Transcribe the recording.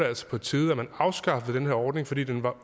altså på tide at man afskaffede den her ordning fordi den var